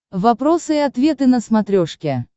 вопросы и ответы на смотрешке